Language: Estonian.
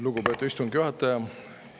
Lugupeetud istungi juhataja!